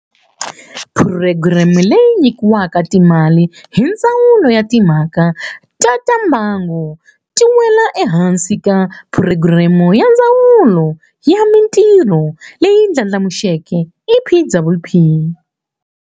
Phurogireme leyi nyikiwaka timali hi Ndzawulo ya Timha ka ta Mbango, yi wela ehansi ka Phurogireme ya Ndzawulo ya Mitirho leyi Ndlandlamuxiweke, EPWP.